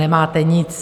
Nemáte nic.